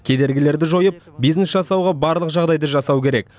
кедергілерді жойып бизнес жасауға барлық жағдайды жасау керек